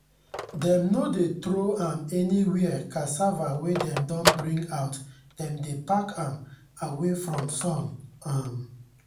dem no dey throw am anywhere cassava wey dem don bring out dem dey pack am away from sun. um